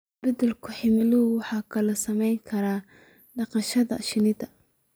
Isbeddelka cimiladu wuxuu kaloo saameyn karaa dhaqashada shinnida.